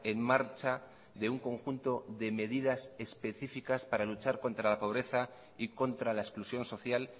en marcha de un conjunto de medidas específicas para luchar contra la pobreza y contra la exclusión social